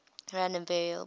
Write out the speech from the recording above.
random variables